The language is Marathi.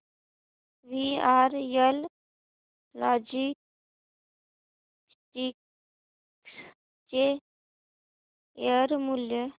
वीआरएल लॉजिस्टिक्स चे शेअर मूल्य